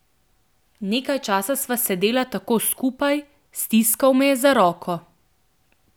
Nekaj časa sva sedela tako skupaj, stiskala me je za roko.